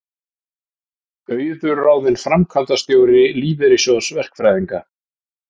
Auður ráðin framkvæmdastjóri Lífeyrissjóðs verkfræðinga